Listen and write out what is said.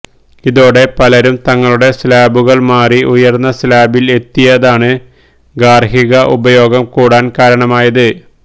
ഇതോടെ പലരും തങ്ങളുടെ സ്ലാബുകൾ മാറി ഉയർന്ന സ്ലാബിൽ എത്തിയതാണ് ഗാർഹിക ഉപഭോഗം കൂടാൻ കാരണമായത്